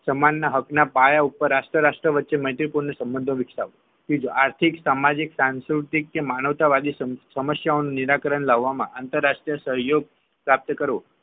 સમાન હક ના પાયા ઉપર રાષ્ટ્ર રાષ્ટ્ર વચ્ચે મૈત્રીપૂર્ણ સંબંધો વિકસાવવા ત્રીજો આર્થિક સામાજિક અને સાંસ્કૃતિક કે માનવતા વાદી સમસ્યાનું નિરાકરણ લાવવામાં આંતરરાષ્ટ્રીય સંયોગ પ્રાપ્ત કરવો